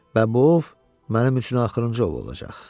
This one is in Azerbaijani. Və bu ov mənim üçün axırıncı ov olacaq.